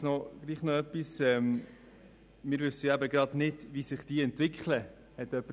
Jemand hat gesagt, man wisse ja nicht, wie sich die Technik entwickle.